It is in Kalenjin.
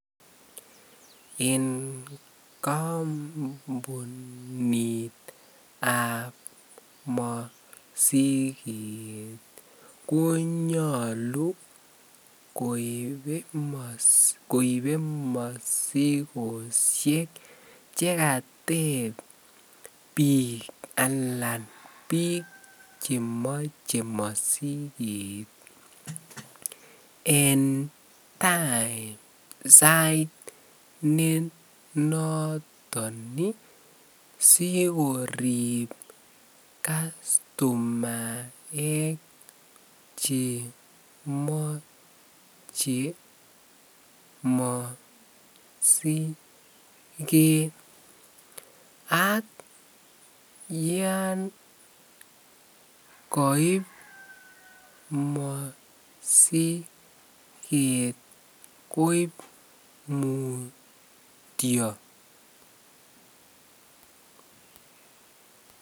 En kombunitab mosiket konyolu koibe mosikoshek chekateb biik alaan biik chemoche mosiket en time sait ne noton sikorib customaek chemoche mosiket ak yoon koib mosiket koib mutio.